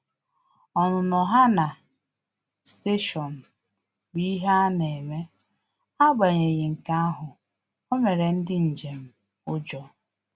Ọnụnọ ha na stationu bụ ihe ana eme, agbanyeghi nke ahụ, o mere ndị njem ujọ